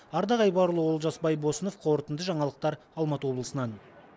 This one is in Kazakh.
ардақ айбарұлы олжас байбосынов қорытынды жаңалықтар алматы облысынан